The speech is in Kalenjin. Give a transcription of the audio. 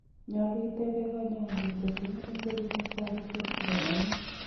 Nyaluu itebee kanyaindet ngotko ng'eme serunek sagityek chekakonin